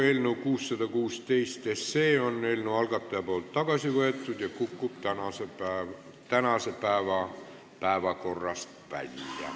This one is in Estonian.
Algataja on eelnõu 616 tagasi võtnud ja see kukub tänasest päevakorrast välja.